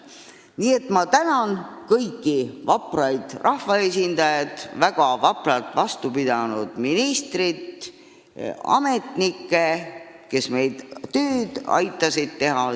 Nii et ma tänan kõiki vapraid rahvaesindajaid, väga vapralt vastu pidanud ministrit ja ametnikke, kes aitasid meil tööd teha.